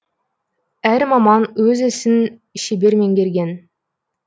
әр маман өз ісін шебер меңгерген